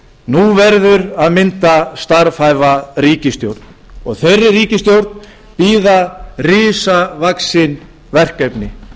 nú verður að mynda starfhæfa ríkisstjórn þeirri ríkisstjórn bíða risavaxin verkefni